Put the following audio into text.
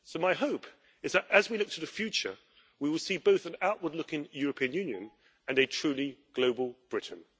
My hope is that, as we look to the future, we will see both an outward looking European Union and a truly global Britain.